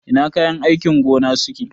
Ina kayan aikin gona suke?